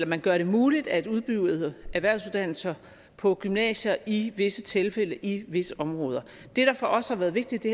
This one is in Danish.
man gør det muligt at udbyde erhvervsuddannelser på gymnasier i visse tilfælde i visse områder det der for os har været vigtigt i